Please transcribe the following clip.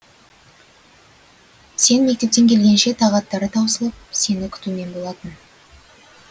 сен мектептен келгенше тағаттары таусылып сені кутумен болатын